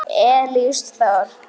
Elís Þór.